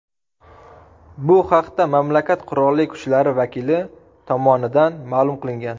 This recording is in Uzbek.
Bu haqda mamlakat qurolli kuchlari vakili tomonidan ma’lum qilingan .